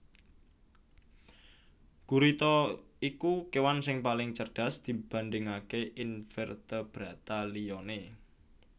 Gurita iku kewan sing paling cerdas dibandingaké invertebrata liyane